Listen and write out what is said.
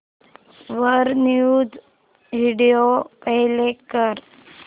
वर news video play कर